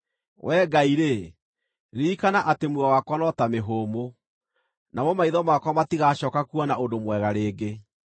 Wee Ngai-rĩ, ririkana atĩ muoyo wakwa no ta mĩhũmũ; namo maitho makwa matigacooka kuona ũndũ mwega rĩngĩ.